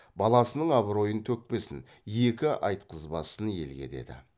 баласының абыройын төкпесін екі айтқызбасын елге деді